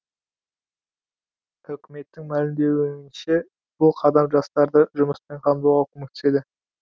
үкіметтің мәлімдеуінше бұл қадам жастарды жұмыспен қамтуға көмектеседі